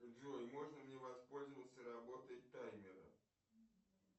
джой можно мне воспользоваться работой таймера